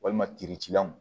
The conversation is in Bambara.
Walima kiricilanw